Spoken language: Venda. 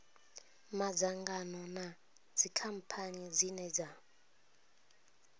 madzangano na dzikhamphani dzine dza